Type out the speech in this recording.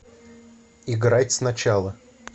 играть сначала